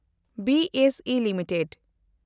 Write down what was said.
B S E limited